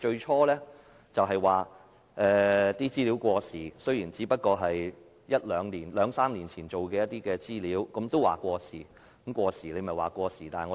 他們最初表示資料過時，雖然那些只不過是兩三年前的資料，但政府也說過時。